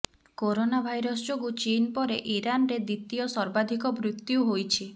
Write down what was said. corona virus ଯୋଗୁଁ ଚୀନ ପରେ ଇରାନରେ ଦ୍ୱିତୀୟ ସର୍ବାଧିକ ମୃତ୍ୟୁ ହୋଇଛି